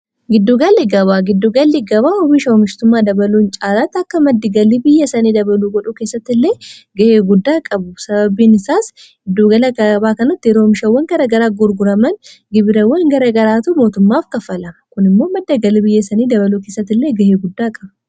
giddugalli gabaa giddugalli gabaa hubiisha hoomishtumaa dabaluun caalaatti akka maddi-galii biyya sanii dabaluu godhuu keessatti illee ga'ee guddaa qabu. sababiin isaas giddugala gabaa kanatti oomishawwan garaagaraa gurguraman gibirawwan garagaraatu mootummaaf kaffalama; kun immoo maddabgalii biyya sanii dabaluu keessatti illee ga'ee guddaa qaba.